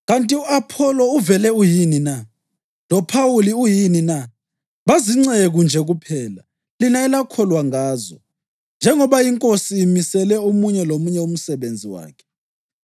Kanti u-Apholo uvele uyini na? LoPhawuli uyini na? Bazinceku nje kuphela lina elakholwa ngazo, njengoba iNkosi imisele omunye lomunye umsebenzi wakhe.